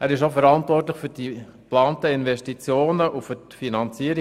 Er ist auch verantwortlich für die geplanten Investitionen und deren Finanzierung.